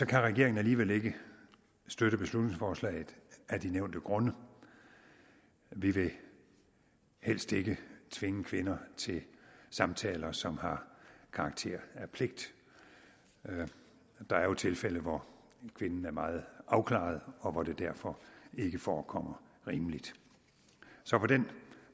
kan regeringen alligevel ikke støtte beslutningsforslaget af de nævnte grunde vi vil helst ikke tvinge kvinder til samtaler som har karakter af pligt der er jo tilfælde hvor kvinden er meget afklaret og hvor det derfor ikke forekommer rimeligt så på den